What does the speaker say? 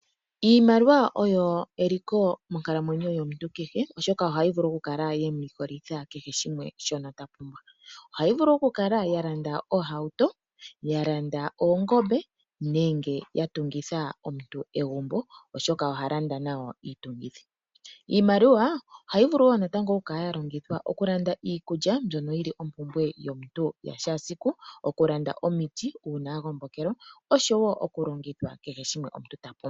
Iimaliwa oyo eliko monkalamwenyo yomuntu kehe. Oshoka ohayi vulu oku kala yemu likolitha kehe shimwe shono ta pumbwa. Ohayi vulu oku kala ya landa oohauto. Ya landa oongombe nenge ya tungitha omuntu egumbo oshoka oha landa nayo iitungithi. Iimaliwa oha yi vulu wo natango oku kala ya longithwa oku landa iikulya mbyono yili ompumpwe yomuntu yashaasiku. Oku landa omiiti una wa gombokelwa oshowo kehe shimwe omuntu ta pumbwa.